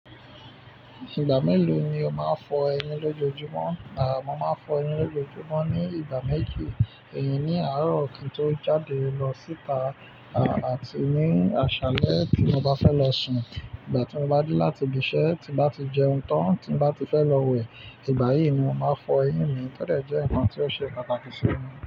Ìgbà mélòó ni o máa ń fọ eyín lójojúmọ́? Àh, mo máa fọ eyín lójojúmọ́ ní ìgbà méjì, eyí ní àárọ̀ kín tó jáde lọ síta, à, àti ní àṣálẹ́ tí mo bá fẹ́ lọ sùn. Ìgbà tí mo bá dé láti ibi iṣẹ́, tí n bá ti jẹun tán, tí n bá ti fẹ́ lọ wẹ̀. Ìgbà yìí ni mo máa fọ eyín mi tọ́dẹ̀ jẹ́ nǹkan tí ó ṣe pàtàkì sí mi.